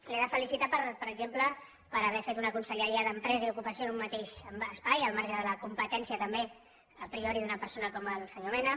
l’he de felicitar per exemple per haver fet una conselleria d’empresa i ocupació en un mateix espai al marge de la competència també a priori d’una persona com el senyor mena